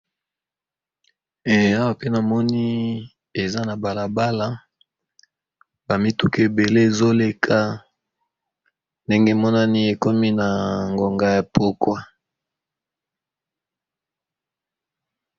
Awa pe namoni eza na balabala ba mituka ebele ezoleka ndenge emonani eza na ngonga ya pokwa.